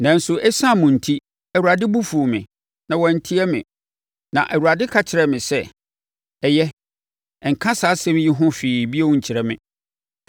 Nanso ɛsiane mo enti, Awurade bo fuu me. Na wantie me. Na Awurade ka kyerɛɛ me sɛ “Ɛyɛ, nka saa asɛm yi ho hwee bio nkyerɛ me.